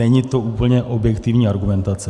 Není to úplně objektivní argumentace.